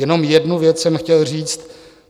Jenom jednu věc jsem chtěl říct.